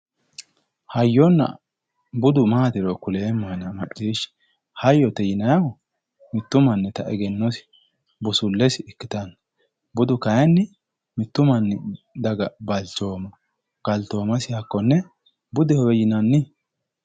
hayyonna budu maatiro kuleemmohena macciishshi hayyote yinayiihu mittu mannita egennosi hayyote yinayiiha ikkanna budu kayiinni mittu manchiha balchoomasi budehowe yinayi